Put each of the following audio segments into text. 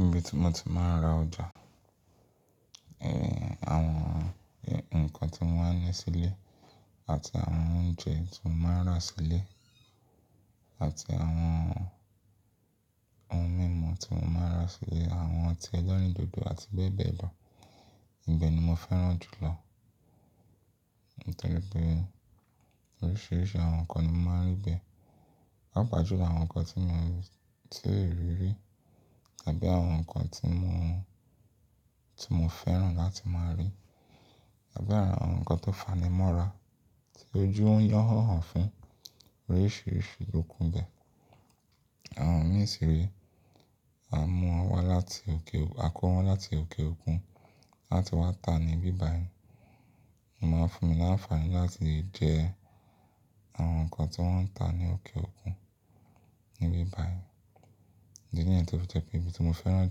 Ibi tí mo ti máa ń ra ọjà, àwọn nǹkan tí mo máa ń ní sílé àti àwọn oúnjẹ tí mo máa ń rà sílé àti àwọn ohun mímu tí mo máa ń rà sílé, àwọn ọtí ẹlẹ́rìndòdò àti bẹ́ẹ̀ bẹ́ẹ̀ lọ. Ibẹ̀ ni mo fẹ́ràn jù lọ, nítorí pé oríṣiríṣi àwọn nǹkan ni mo máa ń rí bẹ́ẹ̀. Pàà pàà jùlọ àwọn nǹkan tí mo, tí ò rí rí tàbí àwọn nǹkan tí mo, tí mo fẹ́ràn láti máa rí tàbí àwọn nǹkan tó fanimọ́ra tí ojú ń yàn án fún oríṣiríṣi okùn bẹ́ẹ̀. Àwọn mìí sì rè, a mú wọn wá láti òkè, a kó wọn láti òkè òkun láti wá ta ní ibi báyí. Ó máa ń fún mi láǹfààní láti jẹ àwọn nǹkan tí wọ́n ń ta ní òkè òkun ní ibi bá yìí. Ìdí ni yẹn tó fi jẹ́ pé ibi tí mo fẹ́ràn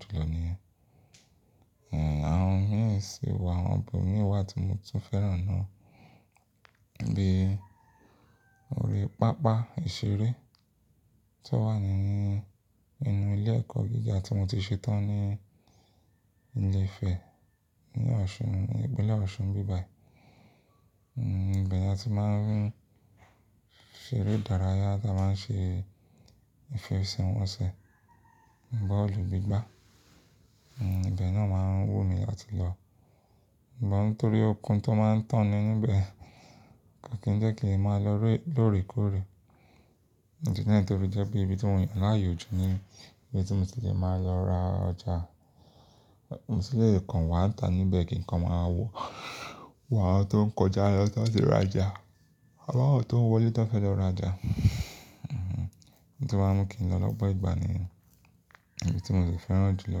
jù lọ níyẹn. Àwọn mìíràn sì wà, àwọn ibòmí wà tí mo tún fẹ́ràn náà, bí i orí pápá ìṣeré tó wà ní inú ilé ẹ̀kọ́ gíga tí mo ti ṣe tán ní Ilé Ifẹ̀, ní ọ̀ṣun, ìpínlẹ̀ Ọ̀ṣun ń bíbà yìí. Ìbẹ̀ ni a ti máa ń ṣe eré ìdárayá tí a máa ń ṣe ìfẹṣẹ̀wọnsẹ̀, bọ́ọ̀lù gbígbá, ibẹ̀ náà máa ń wù mí láti lọ. Ìbọn torí okùn tó máa ń tán ní bẹ́ẹ̀ kó kì í jẹ́ kí n lè máa lọ lórèkóòrè. Ní ìdí náà tórí jẹ́ pé ibi tí mò yan láyò jù ní ibi tí mo ti lè máa lọ ra ọjà. Mo sì lè kàn wá ta níbẹ̀ kí nǹkan máa wọ̀, wà tó ń kọjá lọ tóti ra ọjà. A bá ò tó ń wọlé tó bá fẹ́ lọ ra ọjà, tí ó máa ń mú kí n lọ lọ́gbọ́n ìgbà nìyẹn. Ibi tí mo sì fẹ́ràn jù lọ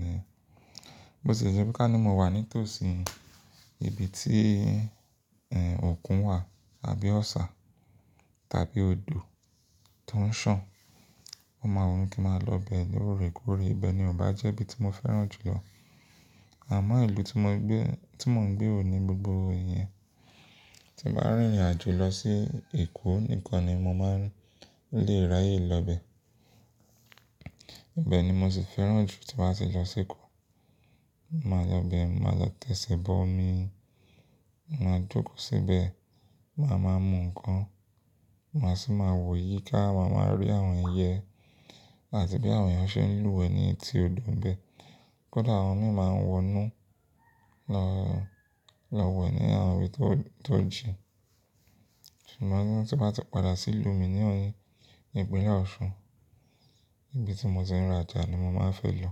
ni. Bí ó ṣe jẹ́ pé ká ní mo wà ní tòsí ibi tí òkun wà àbí ọ̀ṣà tàbí odò tó ń sàn, mo máa wùn kí n máa lọ bẹ lórèkóòrè. Ibẹ̀ ni ò bá jẹ́ ibi tí mo fẹ́ràn jù lọ. Àmọ́ ìlú tí mo gbé, tí mò ń gbé ò ní gbogbo èèyàn. Tí mo bá rìnrìn àjò lọ sí Èkó nìkan ni mo máa ń really rayé lọ bẹ. Ibẹ̀ ni mo sì fẹ́ràn jù tí màá ṣe lọ sí Èkó. Mo máa lọ bẹ, màá lọ tẹ̀sìbọ̀ omi, màá jókòó síbẹ̀, màá máa mú nǹkan, màá sì máa wò yíká, màá máa rí àwọn ẹyẹ àti bí àwọn èèyàn ṣe ń lúwẹ̀ẹ́ ní etí odò bẹ́ẹ̀. Kódà àwọn mìíràn máa ń wọnú lọ, lọ wẹ̀ ní àwọn ibi tó, tó jìn. Ṣùgbọ́n tí màá ti padà sí ìlú mi ní, ìpínlẹ̀ Ọ̀ṣun, ibi tí mo ti ń ra ọjà ni mo máa ń fẹ́ lọ.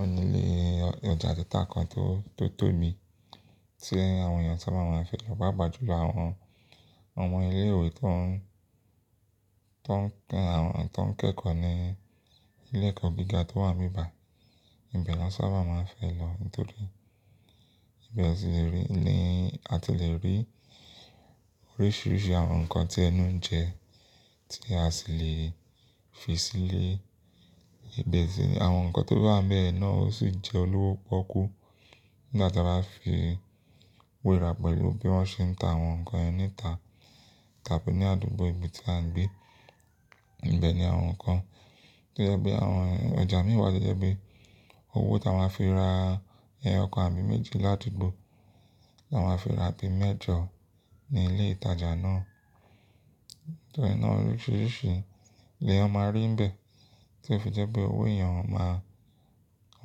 Ó nílé ọjà títa kan tó, tó tò mí tí àwọn èèyàn tí wọ́n máa ń fẹ́ lọ báà bàjú lọ. Àwọn, àwọn ilé ìwé tí wọ́n, tí wọ́n kẹ́, àwọn tí wọ́n kẹ́kọ̀ọ́ ní ilé ẹ̀kọ́ gíga tó wà ní ìbí báyìí, ibẹ̀ ni wọ́n sáábà máa ń fẹ́ lọ nítorí pé ibẹ̀ ni a ti lè rí oríṣiríṣi àwọn nǹkan tí ẹnu ń jẹ tí a sì lè fi sílé. Ibẹ̀ sì ní àwọn nǹkan tó bá wà níbẹ̀ yẹn náà ó sì jẹ́ olówó pọ́kú nígbà tí a bá fi wé ara pẹ̀lú bí wọ́n ṣe ń ta àwọn nǹkan yẹn ní ìta tàbí ní àdúgbò ibi tí à ń gbé. Ibẹ̀ ni àwọn nǹkan tí ó jẹ́ pé àwọn ọjà mìí wà tó jẹ́ pé owó tí a máa fi ra ẹyọ kan àbí méjì ládùgbò, ni a máa fi ra bí mẹ́jọ ní ilé ìtajà náà. Nítorí náà oríṣiríṣi ni èèyàn máa rí níbẹ̀ tí ó fi jẹ́ pé owó èèyàn ó máa, ó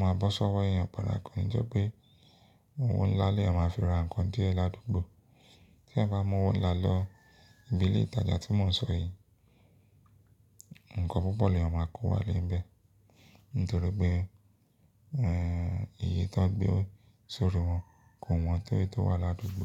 máa bọ́ sọ́wọ́ èèyàn padà. Kò ní jẹ́ pé òwò ńlá ni èèyàn máa fi ra nǹkan díẹ̀ ládùgbò. Tí èèyàn bá mú owó ńlá lọ ibi ilé ìtajà tí mò ń sọ yìí, nǹkan púpọ̀ ni èèyàn máa kó wá lè níbẹ̀ nítorí pé iye tí wọ́n gbé sórí wọn kò wọ́n tó èyí tó wà ládùgbò.